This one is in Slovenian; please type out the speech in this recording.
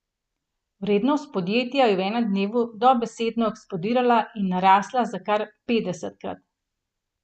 Vrednost podjetja je v enem dnevu dobesedno eksplodirala in narasla za kar petdesetkrat.